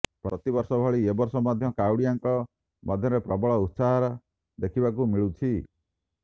ପ୍ରତିବର୍ଷ ଭଳି ଏ ବର୍ଷ ମଧ୍ୟ କାଉଡ଼ିଆଙ୍କ ମଧ୍ୟରେ ପ୍ରବଳ ଉତ୍ସାହ ଦେଖିବାକୁ ମିଳୁଛି